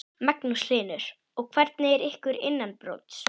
Magnús Hlynur: Og hvernig er ykkur innanbrjósts?